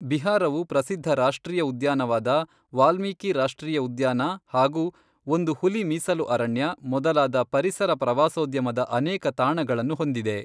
ಬಿಹಾರವು ಪ್ರಸಿದ್ಧ ರಾಷ್ಟ್ರೀಯ ಉದ್ಯಾನವಾದ ವಾಲ್ಮೀಕಿ ರಾಷ್ಟ್ರೀಯ ಉದ್ಯಾನ ಹಾಗು ಒಂದು ಹುಲಿ ಮೀಸಲು ಅರಣ್ಯ ಮೊದಲಾದ ಪರಿಸರ ಪ್ರವಾಸೋದ್ಯಮದ ಅನೇಕ ತಾಣಗಳನ್ನು ಹೊಂದಿದೆ.